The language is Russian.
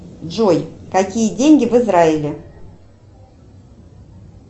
джой какие деньги в израиле